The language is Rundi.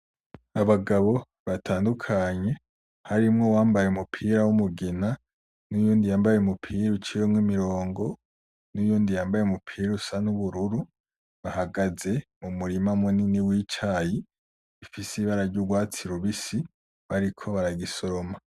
Abagabo batandukanye harimwo uwambaye umupira w'umugina uwundi yambaye umupira uciyemwo imirongo n'uyundi yambaye umupira usa n'ubururu , ahagaze mu murima munini w'icayi , ufise ibara y'urwatsi rubisi bariko barayisoroma.